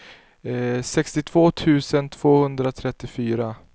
sextiotvå tusen tvåhundratrettiofyra